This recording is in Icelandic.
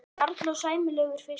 Karl: Og sæmilegur fiskur?